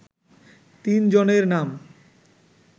তিন জনের নাম